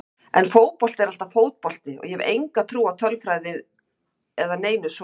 En fótbolti er alltaf fótbolti og ég hef enga trú á tölfræði eða neinu svoleiðis.